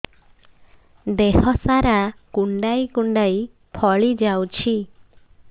ଦେହ ସାରା କୁଣ୍ଡାଇ କୁଣ୍ଡାଇ ଫଳି ଯାଉଛି